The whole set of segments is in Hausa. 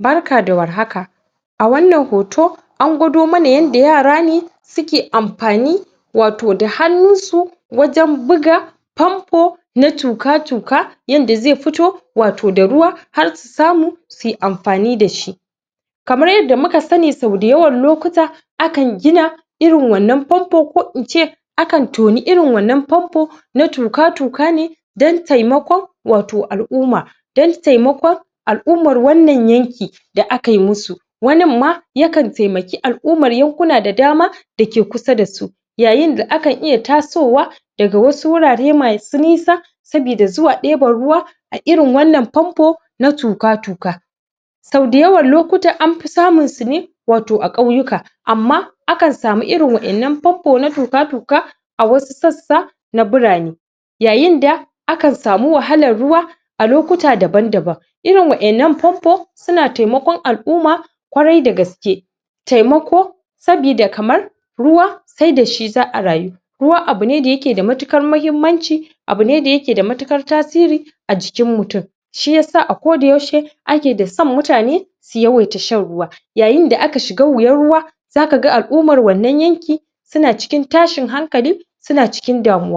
Barka da warhaka, a wannan hoto an gwado mana yanda yara ne suke amfani wato da hannunsu wajen buga fanfo na tuka-tuka yanda ze fito wato da ruwa har su samu suyi amfani dashi kamar yadda muka sani sa da yawan lokuta akan gina irin wannan fanfo ko ince akan toni irin wannan fanfo na tuka-tuka ne dan taimakon wato al'umma dan taimakon al'ummar wannan yanki da akayi musu wanin ma yakan taimaki al'umman yankuna da dama da ke kusa dasu yayinda akan iya tasowa daga wasu wurare masu nisa saboda zuwa ɗeban ruwa a irin wannan fanfo na tuka-tuka soda yawan lokuta anfi samunsu ne wato a ƙauyuka amma akan samu irin wa innan fanfo na tuka-tuka a wasu sassa na birane yayinda akan sami wahalar ruwa a lokuta daban-daban irin wa innan fanfo suna temakon al'umma kwarai da gaske taimako sabida kamar ruwa se dashi za'a rayu ruwa abu ne da yake da matukar mahimmanci abu ne da yake da matukar tasiri a jikin mutum shiyasa a koda yaushe ake da son mutane su yawaita shan ruwa yayinda aka shiga wuyan ruwa zakaga al'umman wannan yanki suna cikin tashin hankali suna cikin damuwayayinda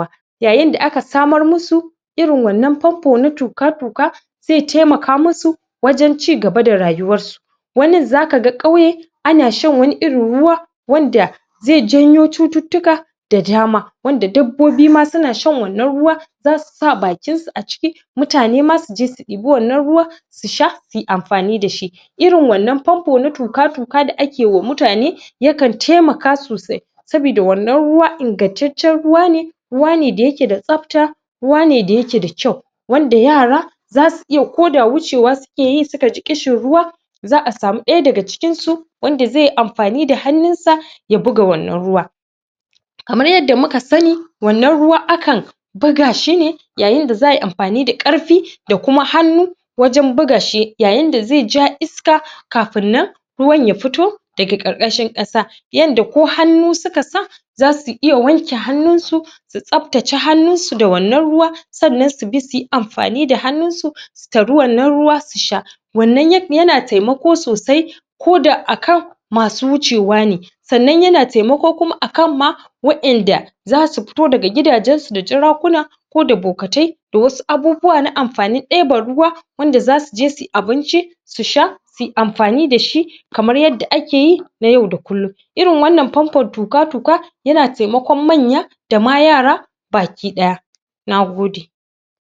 aka samar musu yayinda aka samar musu irin wannan fanfo na tuka-tuka ze temaka musu wajen ci gaba da rayuwansu wannan zakaga ƙauye ana shan wani irin ruwa wanda ze janyo cututtuka da dama wanda dabbobi ma suna shan wannan ruwa zasu sa bakinsu a ciki mutane ma suje su ɗibi wannan ruwa su sha suyi amfani dashi irin wannan fanfo na tuka-tuka da akeyi wa mutane yakan temaka sosai sabida wannan ruwa ingattaccen ruwa ne ruwa ne da yake da tsafta ruwa ne da yake da kyau wanda yara zasu iya koda wucewa sukeyi sukaji ƙishin ruwa za'a sami ɗaya daga cikinsu wanda zeyi amfani da hannunsa ya buga wannan ruwa kamar yadda muka sani wannan ruwa akan buga shi ne yayinda za'ayi amfani da ƙarfi da kuma hannu wajen bugashi yayinda ze ja iska kafin nan ruwan ya fito daga ƙarƙashin ƙasa yanda ko hannu suka sa zasu iya wanke hannunsu su tsaftace hannunsu da wannan ruwa sannan su bi suyi amfani da hannunsu su tari wannan ruwa su sha wannan yak yana temako sosai koda a kan masu wucewa ne sannan yana temako kuma akanma wa inda zasu fito daga gidajensu da jarakuna koda bokatai da wasu abubuwa na amfanin debeban ruwa wanda zasuje suyi abinci su sha suyi amfani dashi kamar yadda akeyi na yau da kullum irin wannan fanfon tuka-tuka yana temakon manya dama yara baki ɗaya nagode